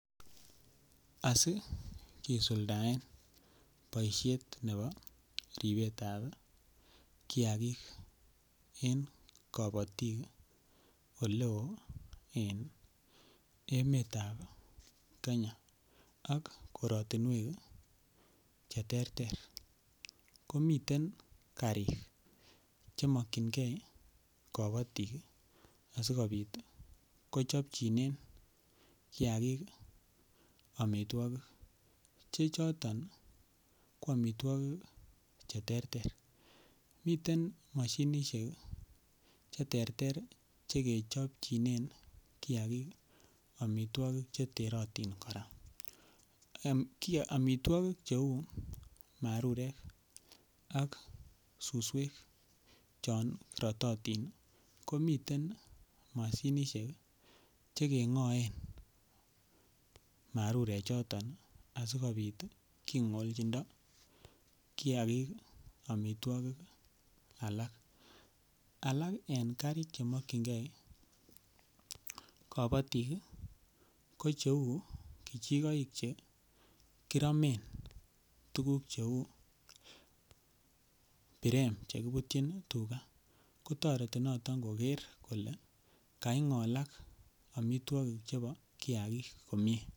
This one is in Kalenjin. Asi kisuldaen boishet nebo ribetab kiagik en kobotik ole oo en emetab Kenya ak korotinwek che terter ko miten karik che mokyingee kobotik asikopit kochobjinen kiagik omitwokik che choton ko omitwokik che terter miten Moshinishek che terter che kechobenjinen kiagik omitwokik che terotin koraa, umm omitwokik che uu marurek ak suswek chon rototin ko miten Moshinishek che kegoen marurek choton asikopit kigolchindo kiagik omitwokik alak. Alak en karik che mokyingee kobotik ko che uu kijigoik che kiromen tuguk che uu birem che kibutyin tuga ko toreti noton koger kole kaingolak omitwokik chebo kiagik komie